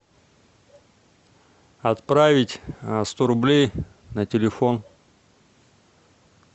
отправить сто рублей на телефон